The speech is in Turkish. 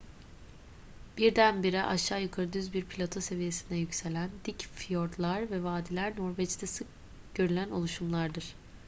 birdenbire aşağı yukarı düz bir plato seviyesine yükselen dik fiyortlar ve vadiler norveç'te sık görülen oluşumlardır